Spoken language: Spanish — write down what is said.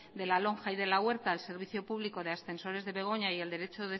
de la lonja y de la huerta al servicio público de ascensores de begoña y el derecho